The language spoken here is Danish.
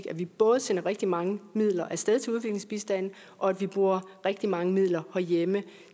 at vi både sender rigtig mange midler af sted til udviklingsbistand og at vi bruger rigtig mange midler herhjemme